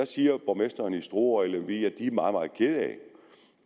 siger borgmestrene i struer og i lemvig at de er meget meget kede af